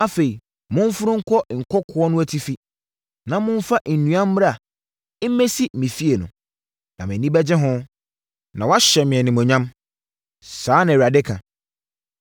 Afei, momforo nkɔ nkokoɔ no atifi, na momfa nnua mmra mmɛsi me fie no. Na mʼani bɛgye ho, na wɔahyɛ me animuonyam.” Saa na Awurade ka.